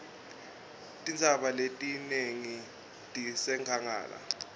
tintsaba letinengi tisenkhangala